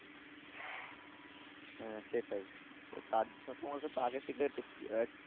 হ্যাঁ সেটাই। তো তার তোমাকে তো আগে থেকে